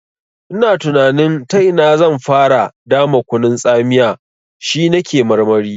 Ina tunanin ta ina zan fara dama kunun tsamiya, shi na ke marmari.